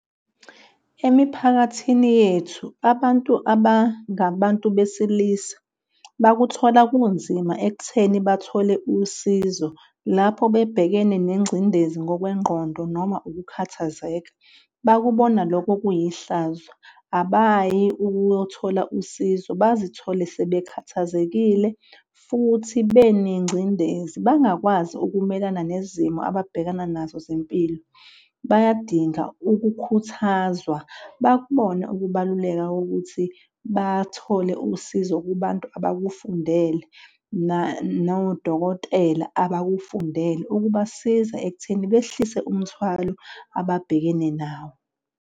Emiphakathini yethu, abantu abangababantu besilisa bakuthola kunzima ekutheni bathole usizo lapho bebhekene nengcindezi ngokwengqondo noma ukukhathazeka. Bakubona loko kuyihlazo abayi ukuyothola usizo, bazithole sebekhathazekile futhi benengcindezi bangakwazi ukumelana nezimo ababhekana nazo zempilo. Bayadinga ukukhuthazwa bakubone ukubaluleka kokuthi bathole usizo kubantu abakufundele nangodokotela abakufundele ukubasiza ekutheni behlise umthwalo ababhekene nawo.